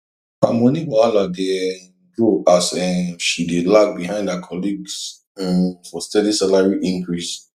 her money wahala dey um grow as um she dey lag behind her colleagues um for steady salary increase